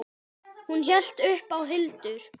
Hún heitir þá Hildur!